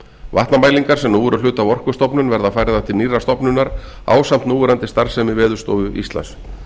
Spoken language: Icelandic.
vatnamælingar sem nú eru hluti af orkustofnun verða færðar til nýrrar stofnunar ásamt núverandi starfsemi veðurstofu íslands